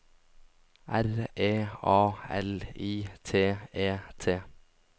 R E A L I T E T